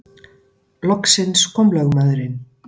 Loksins kom lögmaðurinn.